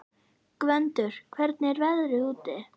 Gvöndur, hvernig er veðrið úti?